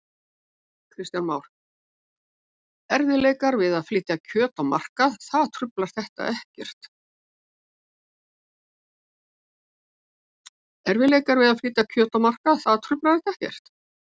Kristján Már: Erfiðleikar við að flytja kjöt á markað, það truflar þetta ekkert?